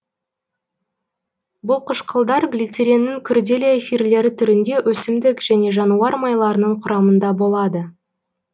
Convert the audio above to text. бұл қышқылдар глицериннің күрделі эфирлері түрінде өсімдік және жануар майларының құрамында болады